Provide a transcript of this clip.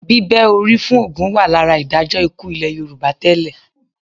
Bíbẹ́ orí fún ògún wà lára ìdájọ́ ikú ilẹ̀ Yorùbá tẹ́lẹ̀